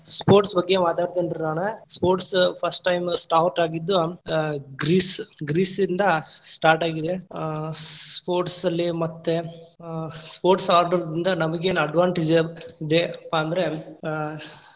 Sports ಬಗ್ಗೆ ಮಾತಾಡತಿನ್ರಿ ನಾನ್‌. sports first time start ಆಗಿದ್ದು, ಅ ಗ್ರೀಸ್‌ ಗ್ರೀಸ್‌ ಇಂದಾ start ಆಗಿದೆ. ಆ sports ಅಲ್ಲಿ ಮತ್ತೇ ಆ sports ಆಟದಿಂದ ನಂಗೇನ್ advantage ಏನಪ್ಪಾ ಅಂದ್ರ, ಅ.